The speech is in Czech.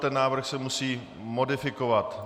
Ten návrh se musí modifikovat.